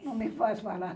Não me faz falar.